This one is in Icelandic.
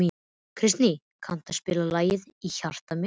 Kristný, kanntu að spila lagið „Í hjarta mér“?